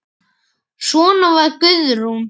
Svona var Guðrún.